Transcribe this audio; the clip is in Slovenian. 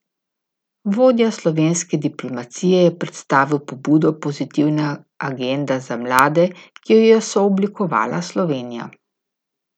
Vodja slovenske diplomacije je predstavil pobudo Pozitivna agenda za mlade, ki jo je sooblikovala Slovenija.